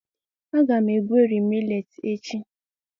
a ga m egweri millet echi.